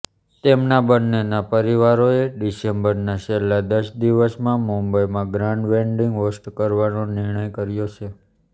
તેમના બંનેના પરિવારોએ ડિસેમ્બરના છેલ્લા દસ દિવસમાં મુંબઈમાં ગ્રાન્ડ વેડિંગ હોસ્ટ કરવાનો નિર્ણય કર્યો છે